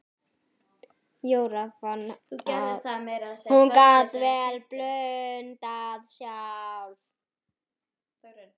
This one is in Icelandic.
Jóra fann að hún gat vel blundað sjálf.